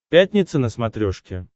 пятница на смотрешке